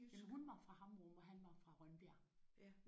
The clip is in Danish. Jamen hun var fra Hammerup og han var fra Rønbjerg